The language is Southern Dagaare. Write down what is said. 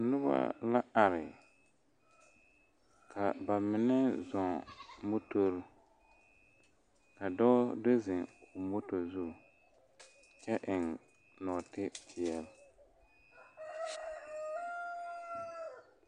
Nobɔ la are ka ba mine zɔɔ motore ka dɔɔ do zeŋ moto zu kyɛ eŋ nɔɔtipeɛle.